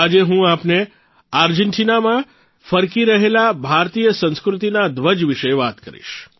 આજે હું આપને આર્જેન્ટીનામાં ફરકી રહેલા ભારતીય સંસ્કૃતિના ધ્વજ વિષે વાત કરીશ